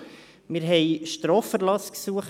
Wir beurteilten Straferlassgesuche.